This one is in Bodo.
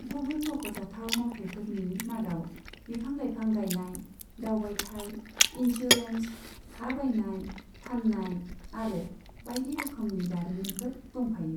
गुबुन मख'जाथाव मावथाइफोरनि मादाव बिफां लाइफां गायनाय, दावबायथाय, इनस्युरेन्स, हा बायनाय फाननाय आरो बायदि रोखोमनि दारिमिनफोर दंफायो।